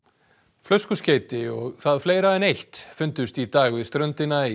flöskuskeyti og það fleira en eitt fundust í dag við ströndina í